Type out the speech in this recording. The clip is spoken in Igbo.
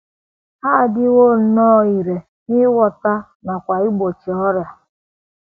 Ha adịwo nnọọ irè n’ịgwọta nakwa n’igbochi ọrịa.